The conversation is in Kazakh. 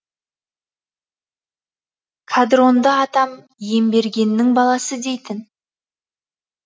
қадронды атам иембергеннің баласы дейтін